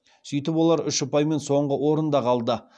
сөйтіп олар үш ұпаймен соңғы орында қалды